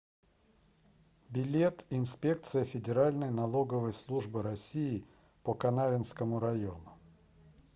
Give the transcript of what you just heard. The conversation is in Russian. билет инспекция федеральной налоговой службы россии по канавинскому району